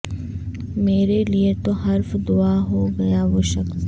میرے لیے تو حرف دعا ہو گیا وہ شخص